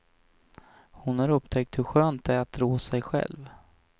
Hon har upptäckt hur skönt det är att rå sig själv.